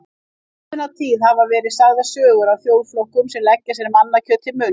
Frá ómunatíð hafa verið sagðar sögur af þjóðflokkum sem leggja sér mannakjöt til munns.